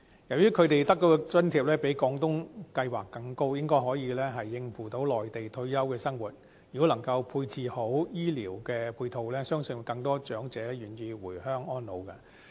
由於他們得到的津貼較廣東計劃更高，應該可以應付內地退休的生活，如果能夠配置好醫療的配套，相信更多長者願意回鄉安老。